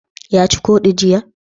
Ya ci ƙodi jiya?